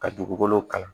Ka dugukolo kalan